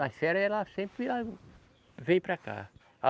Nas férias ela sempre, ah, vem para cá.